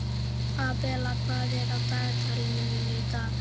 Abela, hvað er í dagatalinu mínu í dag?